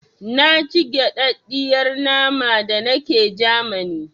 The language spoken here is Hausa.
Na ci gaɗaɗiyar nama da nake Jamani